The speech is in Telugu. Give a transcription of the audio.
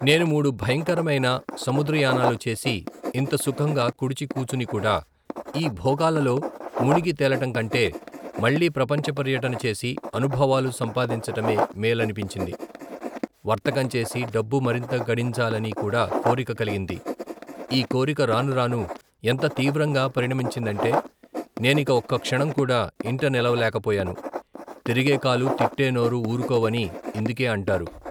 నేను మూడు భయంకరమైన సముద్రయానాలు చేసి ఇంత సుఖంగా కుడిచి కూచునికూడా, ఈ భోగాలలో ముణిగి తేలటంకంటే మళ్లీ ప్రపంచ పర్యటన చేసి అనుభవాలు సంపాదించటమే మేలనపించింది. వర్తకంచేసి డబ్బు మరింత గడించాలని కూడా కోరిక కలిగింది. ఈ కోరిక రానురాను ఎంత తీవ్రంగా పరిణమించిందంటే నేనిక ఒక్క క్షణం కూడా ఇంట నిలవలేక పోయాను.తిరిగేకాలూ, తిట్టేనోరూ ఊరుకోవని ఇందుకే అంటారు.